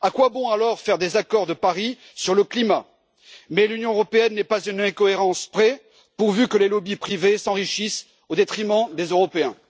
À quoi bon alors faire des accords de Paris sur le climat? Mais l'Union européenne n'est pas à une incohérence près, pourvu que les lobbies privés s'enrichissent au détriment des Européens.